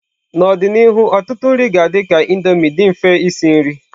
N'ọdịnihu ọtụtụ nri ga-adị ka Indomie, dị mfe isi nri.